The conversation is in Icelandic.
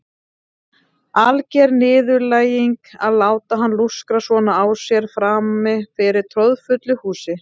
Alger niðurlæging að láta hann lúskra svona á sér frammi fyrir troðfullu húsi.